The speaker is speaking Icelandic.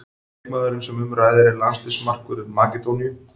Leikmaðurinn sem um ræðir er landsliðsmarkvörður Makedóníu.